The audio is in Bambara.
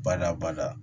Bada bada